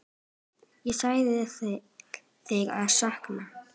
Ég elska þig og sakna.